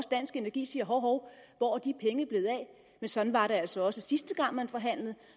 dansk energi siger hov hov hvor er de penge blevet af men sådan var det altså også sidste gang man forhandlede